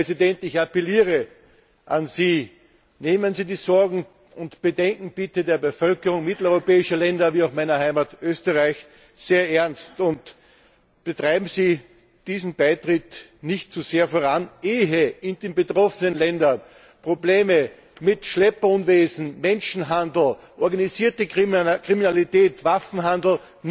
Herr Präsident, ich appelliere an Sie Nehmen Sie bitte die Sorgen und Bedenken der Bevölkerung mitteleuropäischer Länder wie auch meiner Heimat Österreich sehr ernst und treiben Sie diesen Beitritt nicht zu sehr voran, ehe in den betroffenen Ländern die Probleme mit Schlepperunwesen, Menschenhandel, organisierter Kriminalität, Waffenhandel